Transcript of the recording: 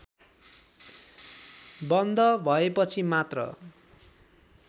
बन्द भएपछि मात्र